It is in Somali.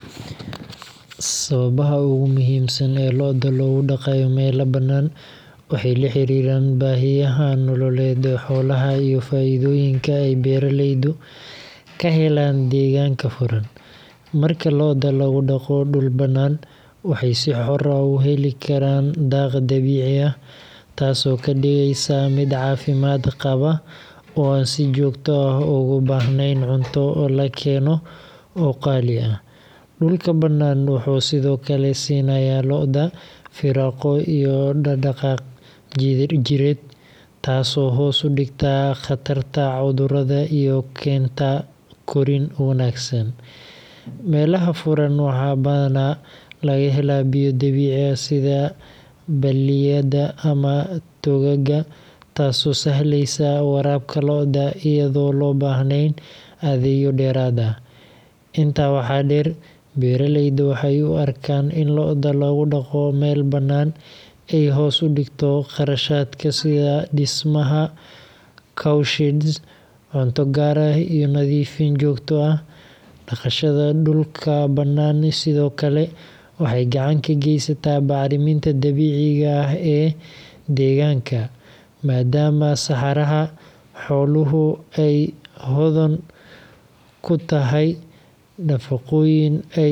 Sababaha ugu muhiimsan ee lo’da loogu dhaqayo meelo bannaan waxay la xiriiraan baahiyaha nololeed ee xoolaha iyo faa’iidooyinka ay beeraleydu ka helaan deegaanka furan. Marka lo’da lagu dhaqo dhul bannaan, waxay si xor ah u heli karaan daaq dabiici ah, taasoo ka dhigaysa mid caafimaad qaba oo aan si joogto ah ugu baahnayn cunto la keeno oo qaali ah. Dhulka bannaan wuxuu sidoo kale siinayaa lo’da firaaqo iyo dhaqdhaqaaq jidheed, taasoo hoos u dhigta khatarta cudurrada iyo keenta korriin wanaagsan. Meelaha furan waxaa badanaa laga helaa biyo dabiici ah sida balliyada ama togagga, taasoo sahleysa waraabka lo’da iyadoon loo baahnayn adeegyo dheeraad ah. Intaa waxaa dheer, beeraleyda waxay u arkaan in lo’da lagu dhaqdo meel bannaan ay hoos u dhigto kharashaadka sida dhismaha cow sheds, cunto gaar ah, iyo nadiifin joogto ah. Dhaqashada dhulka bannaan sidoo kale waxay gacan ka geysataa bacriminta dabiiciga ah ee deegaanka, maadaama saxarada xooluhu ay hodan ku tahay nafaqooyin ay dhirtu u baahan tahay. Ugu dambeyntii.